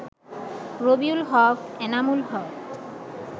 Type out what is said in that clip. Rabiul Haque, Enamul Haque